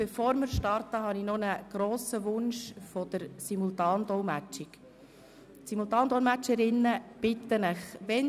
Bevor wir starten, möchte ich Ihnen noch einen grossen Wunsch der Simultandolmetschenden mitteilen.